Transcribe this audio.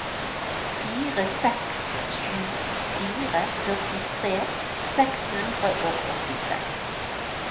fire seks sju fire førtitre seks hundre og åttiseks